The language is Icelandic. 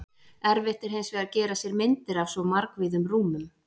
Erfitt er hins vegar að gera sér myndir af svo margvíðum rúmum.